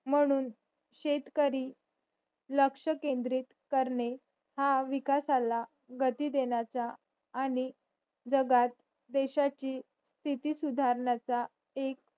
म्हणून शेतकरी लक्षकेंद्रित करणे हा विकासाला गती देण्याचा आणि जगात देशाची स्तिथी सुधारण्याचा एक